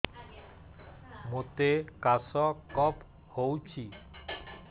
ମୋତେ କାଶ କଫ ହଉଚି